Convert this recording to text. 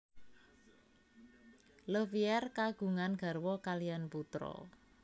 Le Verrier kagungan garwa kaliyan putra